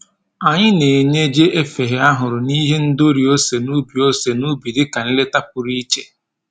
Anyị na-enye jiefeghe ahụrụ na ihe ndori ose n'ubi ose n'ubi dịka nleta pụrụ iche